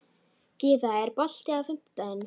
Gyða, er bolti á fimmtudaginn?